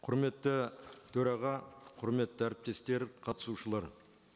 құрметті төраға құрметті әріптестер қатысушылар